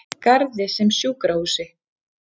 Garði sem sjúkrahúsi.